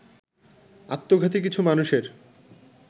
আত্মঘাতী কিছু মানুষের